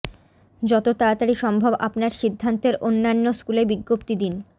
যত তাড়াতাড়ি সম্ভব আপনার সিদ্ধান্তের অন্যান্য স্কুলে বিজ্ঞপ্তি দিন